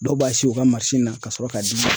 Dɔw b'a si u ka na ka sɔrɔ k'a di